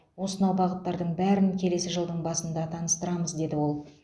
осынау бағыттардың бәрін келесі жылдың басында таныстырамыз деді ол